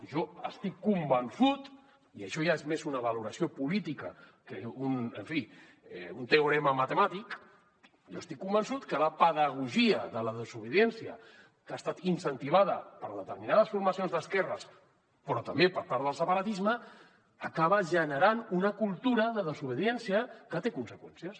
jo estic convençut i això ja és més una valoració política que en fi un teorema matemàtic que la pedagogia de la desobediència que ha estat incentivada per determinades formacions d’esquerres però també per part del separatisme acaba generant una cultura de desobediència que té conseqüències